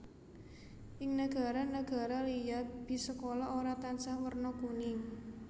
Ing nagara nagara liya bis sekolah ora tansah werna kuning